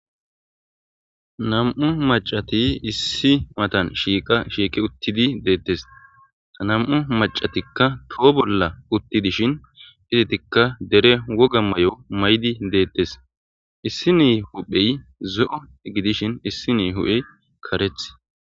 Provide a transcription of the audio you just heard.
nam7u macati issi matan shiiqa shiiqe uttidi deettes anam7u macatikka toho bolla uttidishin hizitikka dere woga may7o may7di deettes issi ni huphey zo7u gidishin issi ni hu7hey kareth